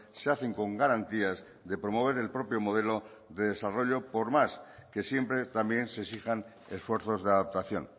se hacen con garantías de promover el propio modelo de desarrollo por más que siempre también se exijan esfuerzos de adaptación